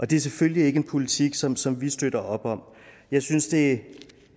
det er selvfølgelig ikke en politik som som vi støtter op om jeg synes det